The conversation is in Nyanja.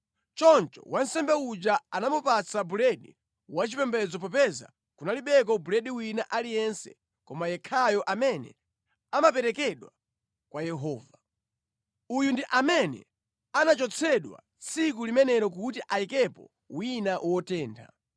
Choncho wansembe uja anamupatsa buledi wachipembedzo popeza kunalibeko buledi wina aliyense koma yekhayo amene amaperekedwa kwa Yehova. Uyu ndi amene anachotsedwa tsiku limenelo kuti ayikepo wina wotentha.